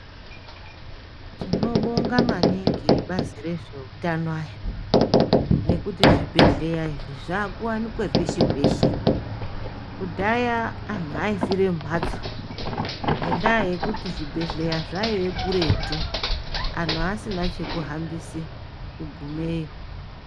Tinobonga maningi vebazi rezveutano ayaa ngekuti zvibhedhleya izvi zvakuwanika peshe peshe. Kudhaya antu aifira mumhatso ngendaa yekuti zvibhedhleya zvaiyaa kuretu. Anhu asina chekuhambise kugumeyo.